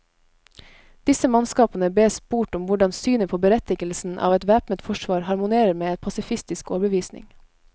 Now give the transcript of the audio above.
Disse mannskapene bes spurt om hvordan synet på berettigelsen av et væpnet forsvar harmonerer med en pasifistisk overbevisning.